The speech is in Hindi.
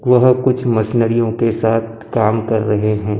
वह कुछ मशीनरियों के साथ काम कर रहे हैं।